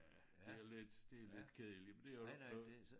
Øh det jo lidt det jo lidt kedeligt men det jo ikke noget